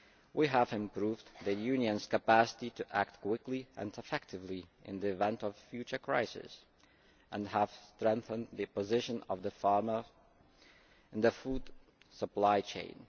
We have the improved the Union's capacity to act quickly and effectively in the event of future crises and have strengthened the position of farmers in the food supply chain.